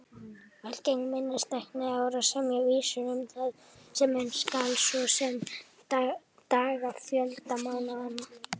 Algeng minnistækni er að semja vísur um það sem muna skal, svo sem dagafjölda mánaðanna.